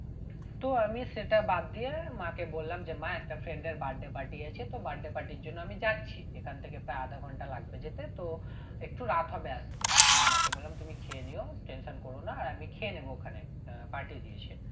তো আমি সেটা বাদ দিয়ে মাকে বললাম যে মা একটা friend এর birthday party আছে তো birthday party এর জন্য আমি যাচ্ছি এখান থেকে প্রায় আধা ঘন্টা লাগবে যেতে তো একটু রাত হবে আসতে উম মাকে বললাম তুমি খেয়ে নিও tension করো না আর আমি খেয়ে নেবো ওখানে আহ party দিয়েছে